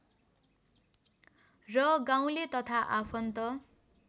र गाउँले तथा आफन्त